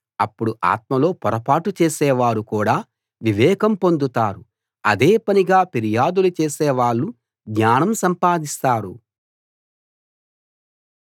అప్పుడు ఆత్మలో పొరపాటు చేసేవారు కూడా వివేకం పొందుతారు అదేపనిగా ఫిర్యాదులు చేసేవాళ్ళు జ్ఞానం సంపాదిస్తారు